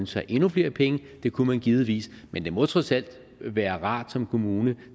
sig endnu flere penge det kunne man givetvis men det må trods alt være rart som kommune